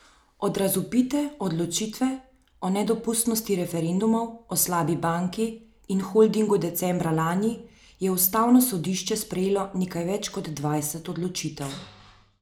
Od razvpite odločitve o nedopustnosti referendumov o slabi banki in holdingu decembra lani je ustavno sodišče sprejelo nekaj več kot dvajset odločitev.